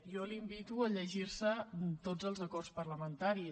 jo la invito a llegir se tots els acords parlamentaris